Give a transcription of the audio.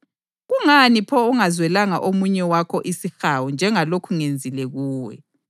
Kungani pho ungazwelanga omunye wakho isihawu njengalokhu ngenzile kuwe?’